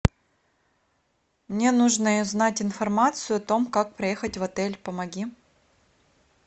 мне нужно узнать информацию о том как проехать в отель помоги